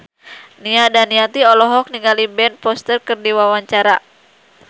Nia Daniati olohok ningali Ben Foster keur diwawancara